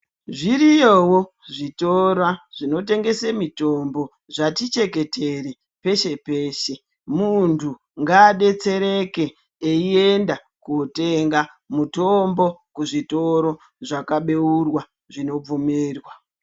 Zviriyowo zvitoro zvinotengesa mitombo zvati cheketere peshe peshe muntu ngadetsereke eienda kundotenga mutombo kuzvitoro zvakabeurwa zvinobvumirwa.